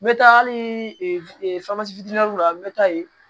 N bɛ taa hali la n bɛ taa yen